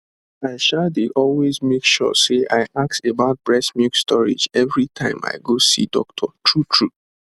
i um dey always make sure say i ask about breast milk storage every time i go see doctor truetrue